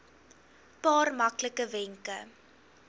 paar maklike wenke